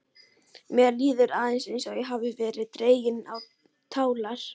Mér líður eins og ég hafi verið dregin á tálar.